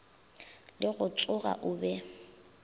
le go tsoga o be